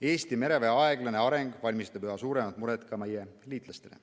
Eesti mereväe aeglane areng valmistab üha suuremat muret ka meie liitlastele.